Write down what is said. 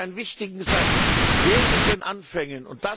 Es gibt einen wichtigen Satz Wehret den Anfängen!